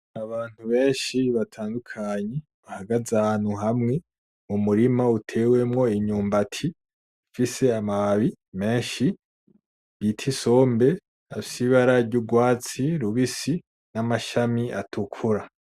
abantu beshi batandukanye bahagaze ahantu hamwe mu murima utewemwo imyumbati ifise amababi meshi bita isombe afise ibara ry'urwatsi rubisi n’amashami atukura.